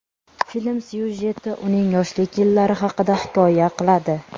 Film syujeti uning yoshlik yillari haqida hikoya qiladi.